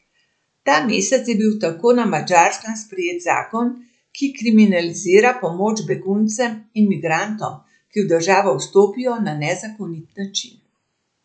Ta mesec je bil tako na Madžarskem sprejet zakon, ki kriminalizira pomoč beguncem in migrantom, ki v državo vstopijo na nezakonit način.